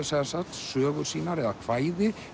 sögur sínar eða kvæði